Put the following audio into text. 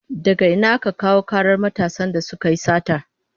Daga ina aka kawo karar matasan da suka yi satar?